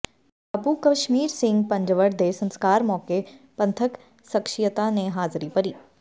ਬਾਪੂ ਕਸ਼ਮੀਰ ਸਿੰਘ ਪੰਜਵੜ ਦੇ ਸੰਸਕਾਰ ਮੌਕੇ ਪੰਥਕ ਸਖਸ਼ੀਅਤਾਂ ਨੇ ਹਾਜ਼ਰੀ ਭਰੀ